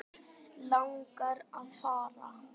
Langar að fara.